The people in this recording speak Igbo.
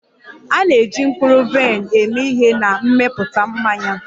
A na-eji mkpụrụ vaịn eme ihe na mmepụta mmanya